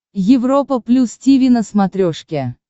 европа плюс тиви на смотрешке